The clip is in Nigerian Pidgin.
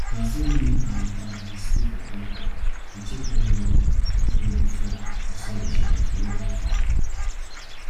na so me and am dey stay for compound dey check every morning if rain go fall or sun go shine to know how farm